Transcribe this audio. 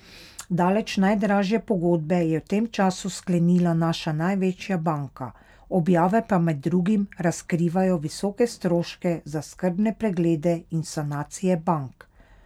Daleč najdražje pogodbe je v tem času sklenila naša največja banka, objave pa med drugim razkrivajo visoke stroške za skrbne preglede in sanacije bank.